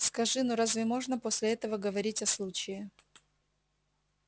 скажи ну разве можно после этого говорить о случае